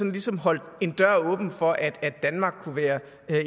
ligesom holdt en dør åben for at danmark kunne være